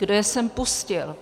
Kdo je sem pustil?